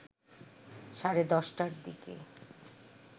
সাড়ে ১০ টার দিকে